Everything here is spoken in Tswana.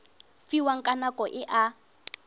fiwang ka nako e a